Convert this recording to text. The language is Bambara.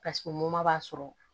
b'a sɔrɔ